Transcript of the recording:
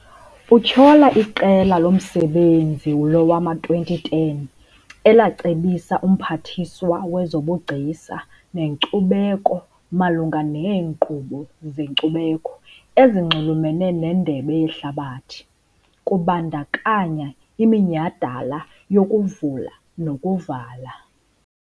Utyhola iQela loMsebenzi lowama-2010 elacebisa uMphathiswa wezoBugcisa neNkcubeko malunga neenkqubo zenkcubeko ezinxulumene neNdebe yeHlabathi, kubandakanya iminyhadala yokuvula nokuvala.